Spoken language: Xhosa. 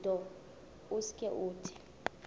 nto usuke uthi